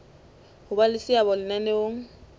ho ba le seabo lenaneong